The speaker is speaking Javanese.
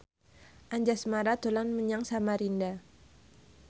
Anjasmara dolan menyang Samarinda